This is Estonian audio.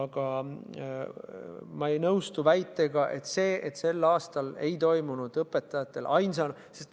Aga ma ei nõustu väitega, et sel aastal ei toimunud õpetajatel ainsana ...